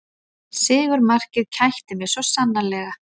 Sigurmarkið kætti mig svo sannarlega